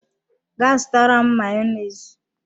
Ga zutara m Mayonezi!